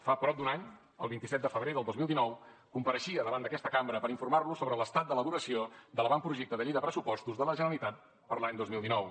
fa prop d’un any el vint set de febrer del dos mil dinou compareixia davant d’aquesta cambra per informar los sobre l’estat d’elaboració de l’avantprojecte de llei de pressupostos de la generalitat per a l’any dos mil dinou